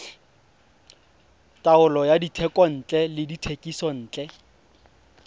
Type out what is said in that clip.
taolo ya dithekontle le dithekisontle